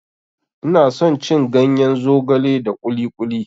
Ina son cin ganyen zogale da kuli kuli.